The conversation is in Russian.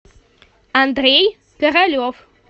андрей королев